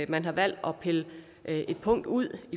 man har valgt at pille et punkt ud